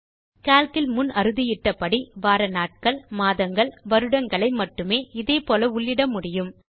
நீங்கள் கால்க் இல் முன் அறுதியிட்டபடி வார நாட்கள் மாதங்கள் வருடங்களை மட்டுமே இதே போல உள்ளிட முடியும்